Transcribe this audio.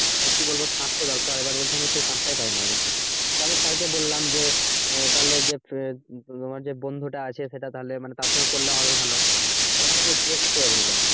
আহ কি বলবো সাথ তো দরকার এবার বলছে আমি সেই সাথ টা পাইনা বলছে তবে sir কে বললাম যে আহ তাহলে যে তোমার যে বন্ধু টা আছে সেটা তাহলে তার সাথে করলে হবে ভালো বলছে আমি দেখছি এভাবে বললো।